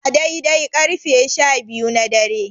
A dai-dai ƙarfe sha biyu na dare.